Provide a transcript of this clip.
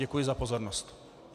Děkuji za pozornost.